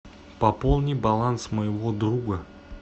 пополни баланс моего друга